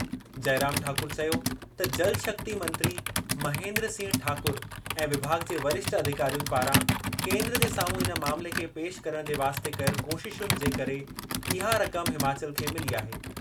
जइराम ठाकुर चयो त जलशक्ति मंत्री महेन्द्र सिंह ठाकुर ऐं विभाॻु जे वरिष्ठ अधिकारियुनि पारां केंद्र जे साम्हूं इन मामले खे पेशि करणु जे वास्ते कयल कोशिशुनि जे करे इहा रक़म हिमाचल खे मिली आहे।